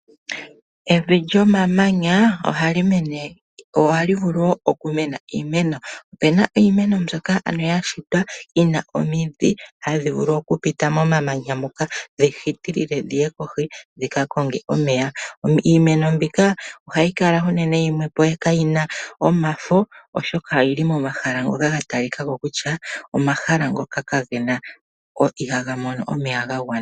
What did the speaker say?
Evi lyomamanya ohali mene/ohali vulu wo okumena iimeno, opena iimeno mbyoka ano yashitwa yina omidhi hadhivulu okupita momamanya moka dhihitilile dhihe kohi dhikakonge omeya. Iimeno mbika ohayi kala unene yimwe po kayina omafo oshoka oyili momahala ngoka gatalikako kutya omahala ngoka kagena, ihagamono omeya gagwana.